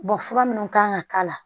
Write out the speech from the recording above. fura minnu kan ka k'a la